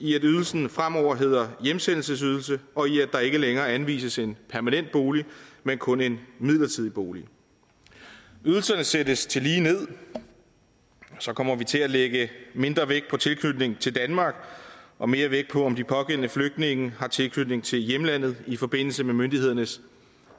i at ydelsen fremover hedder hjemsendelsesydelsen og i at der ikke længere anvises en permanent bolig men kun en midlertidig bolig ydelserne sættes tillige ned og så kommer vi til at lægge mindre vægt på tilknytning til danmark og mere vægt på om de pågældende flygtninge har tilknytning til hjemlandet i forbindelse med myndighedernes